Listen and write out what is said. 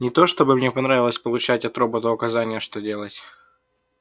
не то чтобы мне понравилось получать от робота указания что делать